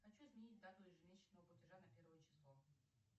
хочу изменить дату ежемесячного платежа на первое число